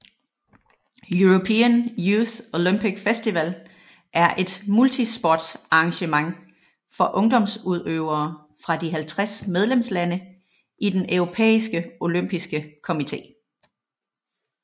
European Youth Olympic Festival er et multisportsarrangement for ungdomsudøvere fra de 50 medlemslande i den Europæiske olympiske komité